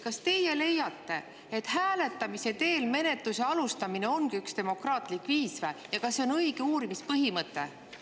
Kas teie leiate, et hääletamise teel menetluse alustamine ongi üks demokraatlik viis ja kas see on õige uurimispõhimõte?